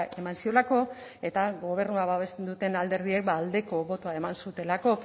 eman ziolako eta gobernua babesten duten alderdiek ba aldeko botoa eman zutelako